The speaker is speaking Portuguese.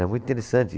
É muito interessante.